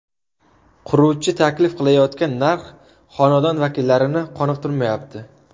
Quruvchi taklif qilayotgan narx xonadon vakillarini qoniqtirmayapti.